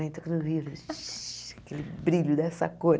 Shh aquele brilho dessa cor.